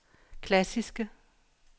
klassiske